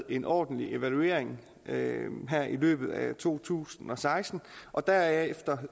en ordentlig evaluering her i løbet af to tusind og seksten og derefter